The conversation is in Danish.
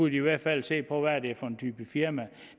i hvert fald se på hvad det er for en type firma